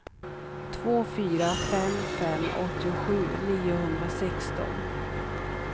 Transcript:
två fyra fem fem åttiosju niohundrasexton